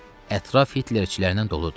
Ətraf Hitlerçilərindən doludur.